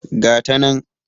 Ga ta nan.